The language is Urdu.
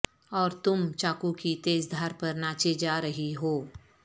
اور تم چاقو کی تیز دھار پر ناچے جا رہی ہو